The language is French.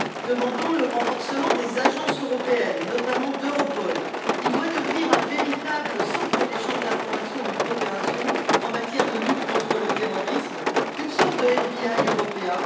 Nous demandons le renforcement des agences européennes, notamment d'Europol, qui doit devenir un véritable centre d'échange d'informations et de coopération en matière de lutte contre le terrorisme, une sorte de FBI européen.